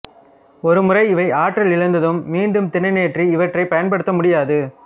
ஒரு முறை இவை ஆற்றலிழந்ததும் மீண்டும் திறனேற்றி இவற்றைப் பயன்படுத்த முடியாது